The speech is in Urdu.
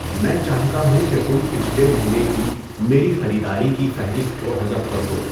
میں چاہتا ہوں کہ تم پچھلے مہینے کی میری خریداری کی فہرست کو حذف کر دو